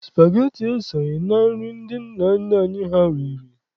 Spageti esoghị na nri ndị nna nna anyị ha riri.